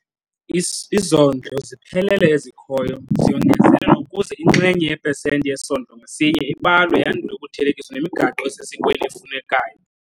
Izondlo ziphelele ezikhoyo ziyongezelelwa ukuze inxenye yepesenti yesondlo ngasinye ibalwe yandule ukuthelekiswa nemigaqo esesikweni efunekayo.